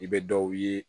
I bɛ dɔw ye